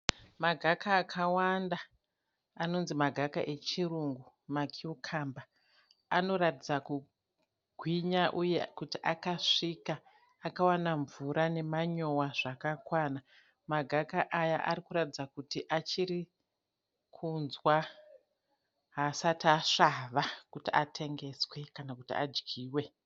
Magaka akawanda anonzi magaka echirurungu makiyukamba. Anoratidza kugwinya uye kuti akasvika, akawana mvura nemanyowa zvakakwana. Magaka aya arikuratidza kuti achiri kunzwa, haasati asvava kuti atengeswe kana kuti adyiwe.